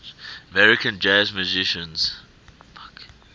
american jazz musicians